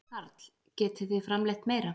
Karl: Getið þið framleitt meira?